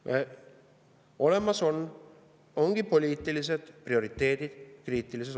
Kriitilise olukorra jaoks ongi olemas poliitilised prioriteedid.